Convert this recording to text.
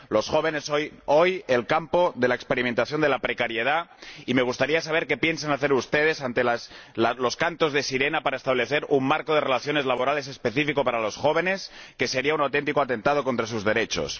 Los jóvenes son hoy el campo de experimentación de la precariedad, y me gustaría saber qué piensan hacer ustedes ante los cantos de sirena para establecer un marco de relaciones laborales específico para los jóvenes que no sea un auténtico atentado contra sus derechos.